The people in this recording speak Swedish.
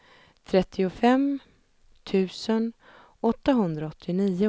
trettiofem tusen etthundraåttionio